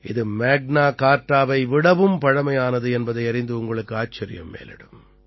இது மேக்னா கார்ட்டாவை விடவும் பழமையானது என்பதையறிந்து உங்களுக்கு ஆச்சரியம் மேலிடும்